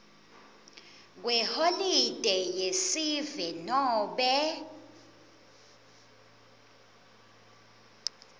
kweholide yesive nobe